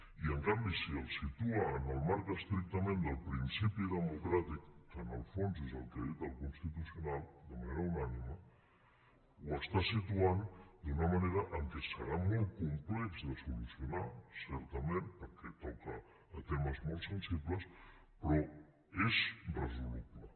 i en canvi si el situa en el marc estrictament del principi democràtic que en el fons és el que ha dit el constitucional de manera unànime el situa d’una manera que serà molt complex de solucionar certament perquè toca temes molt sensibles però és resoluble